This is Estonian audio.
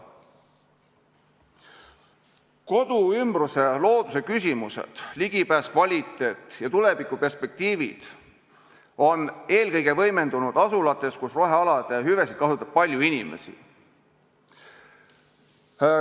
Koduümbruse looduse küsimused – ligipääs, kvaliteet ja tulevikuperspektiivid – on eelkõige võimendunud asulates, kus rohealade hüvesid kasutab palju inimesi.